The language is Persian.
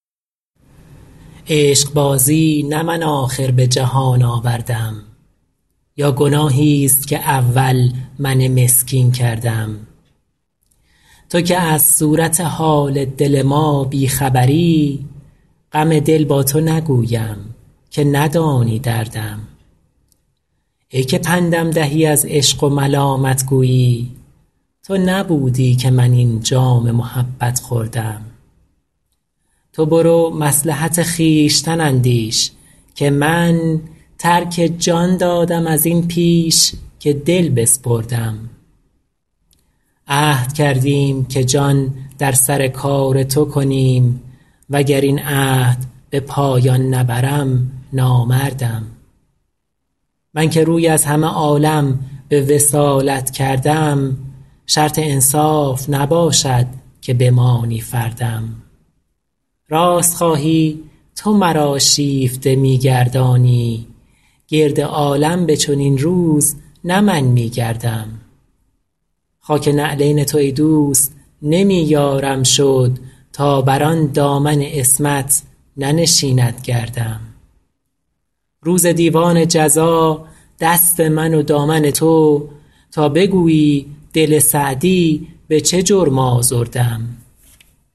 عشقبازی نه من آخر به جهان آوردم یا گناهیست که اول من مسکین کردم تو که از صورت حال دل ما بی خبری غم دل با تو نگویم که ندانی دردم ای که پندم دهی از عشق و ملامت گویی تو نبودی که من این جام محبت خوردم تو برو مصلحت خویشتن اندیش که من ترک جان دادم از این پیش که دل بسپردم عهد کردیم که جان در سر کار تو کنیم و گر این عهد به پایان نبرم نامردم من که روی از همه عالم به وصالت کردم شرط انصاف نباشد که بمانی فردم راست خواهی تو مرا شیفته می گردانی گرد عالم به چنین روز نه من می گردم خاک نعلین تو ای دوست نمی یارم شد تا بر آن دامن عصمت ننشیند گردم روز دیوان جزا دست من و دامن تو تا بگویی دل سعدی به چه جرم آزردم